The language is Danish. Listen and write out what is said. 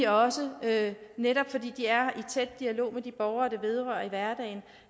også netop fordi de er i tæt dialog med de borgere det vedrører i hverdagen